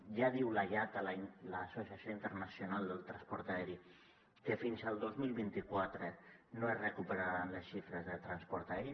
ja diu la iata l’associació internacional del transport aeri que fins al dos mil vint quatre no es recuperaran les xifres de transport aeri